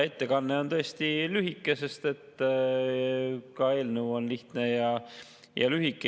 Ettekanne oli tõesti lühike, sest ka eelnõu on lihtne ja lühike.